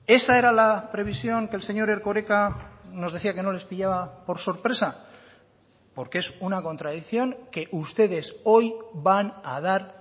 esa era la previsión que el señor erkoreka nos decía que no les pillaba por sorpresa porque es una contradicción que ustedes hoy van a dar